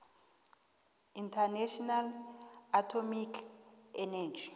international atomic energy